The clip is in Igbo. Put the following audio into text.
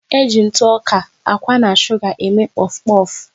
E ji ntụ ọka, akwa na suga eme pofu pofu